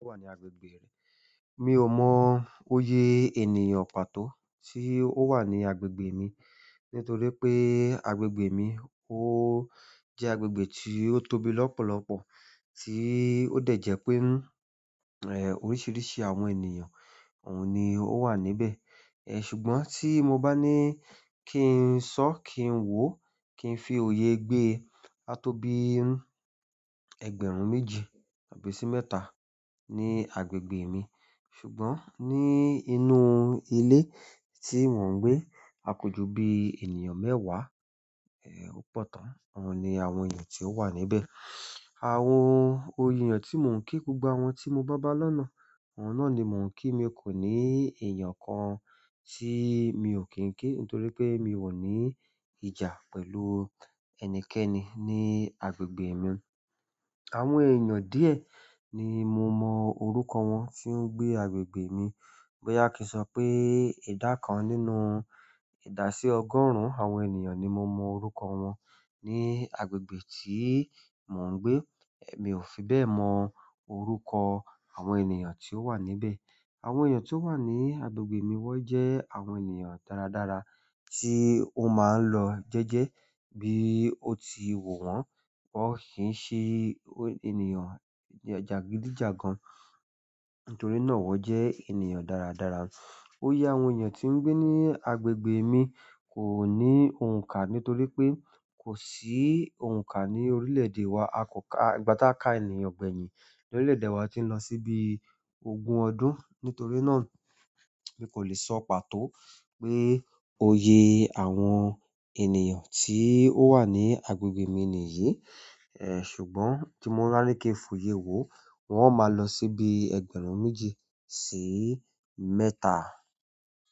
Ó wà ní agbègbè rẹ. Mi ò mọ òye ènìyàn pàtó tí ó wà ní agbègbè mi nítorí pé agbègbè mi ó jẹ́ agbègbè tí ó tóbi lọ́pọ̀lọ́pọ̀ tí ó dẹ̀ jẹ́ pé ẹ̀, oríṣiríṣi àwọn ènìyàn, òun ni ó wà níbẹ̀. Ẹ ṣùgbọ́n tí mo bá ní kí ń sọ, kí ń wò, kí ń fi òye gbé a tó bí ẹgbẹ̀rún méjì tàbí sí mẹ́ta ní agbègbè mi. Ṣùgbọ́n ní inú ilé tí mò ń gbé, a kojú bí ènìyàn mẹ́wàá, ẹ, ó pọ̀ tán. Òun ni àwọn ènìyàn tí ó wà níbẹ̀. Àwọn oyè èyàn tí mò ń kí gbogbo àwọn tí mo bá bá lọ́nà, òun náà ni mò ń kí. Mi kò ní èyàn kan tí mi ò kín ń kí nítorí pé mi ò ní ìjà pẹ̀lú ẹnikẹ́ni ní agbègbè mi. Àwọn ènìyàn díẹ̀ ni mo mọ orúkọ wọn tí ń gbé agbègbè mi. Bóyá kì í sọ pé ẹ̀dá kan nínú ìdásí ọgọ́rùn-ún àwọn ènìyàn ni mo mọ orúkọ wọn ní agbègbè tí mò ń gbé. Ẹ, mi ò fi bẹ́ẹ̀ mọ orúkọ àwọn ènìyàn tí ó wà níbẹ̀. Àwọn ènìyàn tí ó wà ní agbègbè mi wọ́n jẹ́ àwọn ènìyàn dáradára tí ó máa ń lọ jẹ́jẹ́ bí ó ti wù wọ́n. Wọ́n kì í ṣe ènìyàn jàgídíjàgan nítorí náà wọ́n jẹ́ ènìyàn dáradára. Ó yé àwọn ènìyàn tí ń gbé ní agbègbè mi kò ní òǹkà nítorí pé kò sí òǹkà ní orílẹ̀-èdè wa. Ìgbà tá ká ènìyàn gbé yín lórí lè èdè wà lọ sí bi ogun ọdún nítorí nà mi ko le sọ pàtó pe oyè àwọn ènìyàn to wà ni agbègbè mí níyì. Ẹ ṣùgbọ́n tí mo rà ní kí n fòye wò, wọn ó máa lọ síbi ẹgbẹ̀rún méjì sí mẹ́ta.